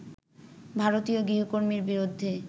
ভারতীয় গৃহকর্মীর বিরুদ্ধে